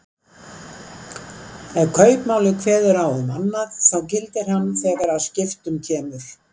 Ef kaupmáli kveður á um annað þá gildir hann þegar að skiptum kemur.